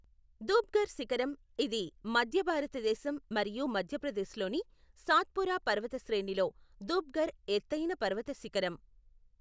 ధూప్ఘర్ శిఖరం, ఇది మధ్య భారతదేశం మరియు మధ్యప్రదేశ్లోని సాత్పురా పర్వత శ్రేణిలో ధూప్ఘర్ ఎత్తైన పర్వత శిఖరం.